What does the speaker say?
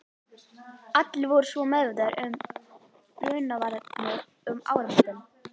Allir voru svo meðvitaðir um brunavarnir um áramótin.